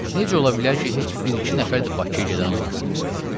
Necə ola bilər ki, heç bir-iki nəfər də Bakıya gedən olmasın?